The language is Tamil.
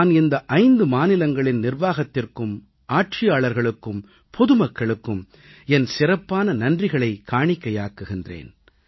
நான் இந்த 5 மாநிலங்களின் நிர்வாகத்திற்கும் ஆட்சியாளர்களுக்கும் பொதுமக்களுக்கும் என் சிறப்பான நன்றிகளைக் காணிக்கையாக்குகிறேன்